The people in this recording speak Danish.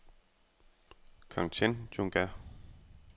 Kangchenjunga